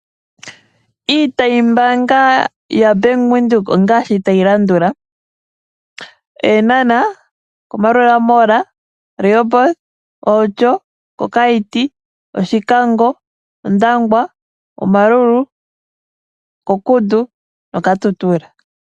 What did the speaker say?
Iitayi mbaanga ya Bank Widhoek ongaashi tayi landula: Eenhana, Maruela mall, Rehoboth, Outjo, Okaiti, Oshikango, Ondangwa, Omaruru, Okudu noKatutura.